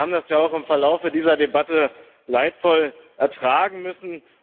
Wir haben das ja auch im Verlaufe dieser Debatte leidvoll ertragen müssen.